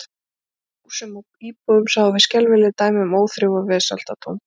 Í leit okkar að húsum og íbúðum sáum við skelfileg dæmi um óþrif og vesaldóm.